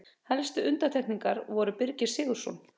Helstu undantekningar voru Birgir Sigurðsson